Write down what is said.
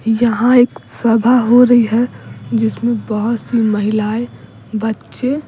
यहाँ एक सभा हो रही है जिसमें बहुत सी महिलाएं बच्चे--